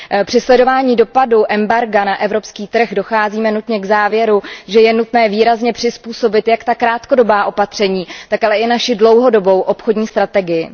Při sledování dopadu embarga na evropský trh docházíme nutně k závěru, že je nutné výrazně přizpůsobit jak ta krátkodobá opatření, tak ale i naši dlouhodobou obchodní strategii.